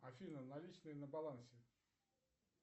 афина наличные на балансе